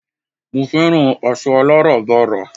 mo fẹ́ràn aṣọ aláràbarà